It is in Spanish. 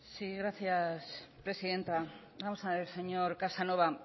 sí gracias presidenta vamos a ver señor casanova